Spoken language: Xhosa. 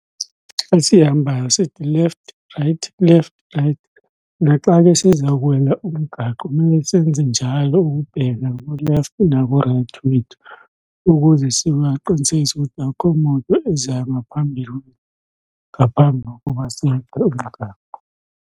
Xa sihambayo sithi left right left right. Naxa ke siza kuwela umgaqo mele senze njalo ukubheka ku-left naku-right wethu ukuze siqinisekise ukuthi akho moto ezihamba phambili ngaphambi kokuba umgaqo.